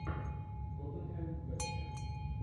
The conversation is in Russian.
тоттенхэм вест хэм